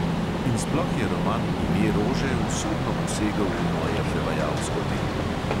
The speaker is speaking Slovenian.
In sploh je roman ime rože usodno posegel v moje prevajalsko delo.